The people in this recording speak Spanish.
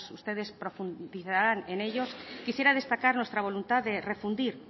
pues ustedes profundizarán en ellos quisiera destacar nuestra voluntad de refundir